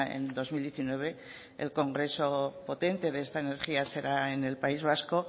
en dos mil diecinueve el congreso potente de esta energía será en el país vasco